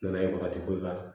N nana ye bagaji foyi k'a la